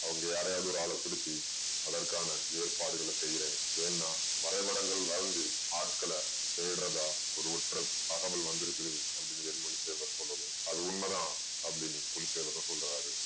அவங்க யாரயாவது ஒரு ஆள பிடிச்சு அதற்கான ஏற்பாடுகளை செய்றேன் ஏன்னா வரைந்து ஆட்களை தேடறதா ஒரு தகவல் வந்திருக்குது அப்படீன்னு வேலு மணி தேவர் சொல்லவும் அது உண்மை தான் அப்படீன்னு புலித்தேவரும் சொல்றாரு.